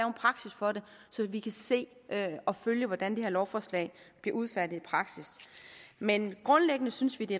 en praksis for det så vi kan se og følge hvordan det her lovforslag bliver udfærdiget i praksis men grundlæggende synes vi det